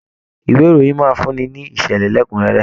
Ìwé ìròyìn máa fún ní ní ìṣẹlẹ lẹkunrẹrẹ.